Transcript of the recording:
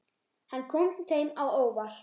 Hann kom þeim á óvart.